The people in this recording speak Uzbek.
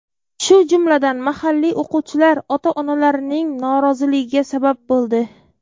shu jumladan mahalliy o‘quvchilar ota-onalarining noroziligiga sabab bo‘ldi.